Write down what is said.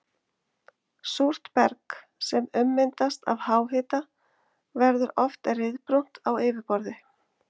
Súrt berg sem ummyndast af háhita verður oft ryðbrúnt á yfirborði.